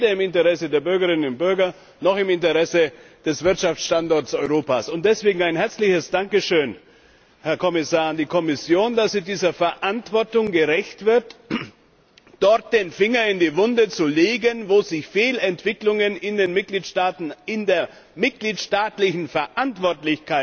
Sie ist weder im Interesse der Bürgerinnen und Bürger noch im Interesse des Wirtschaftsstandorts Europa. Deswegen, Herr Kommissar, ein herzliches Dankeschön an die Kommission, dass sie dieser Verantwortung gerecht wird, dort den Finger in die Wunde zu legen, wo sich Fehlentwicklungen in den Mitgliedstaaten, auch in der mitgliedstaatlichen Verantwortung,